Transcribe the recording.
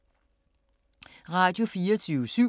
Radio24syv